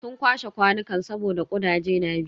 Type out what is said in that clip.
Sun kwashe kwanukan saboda kudaje na bi.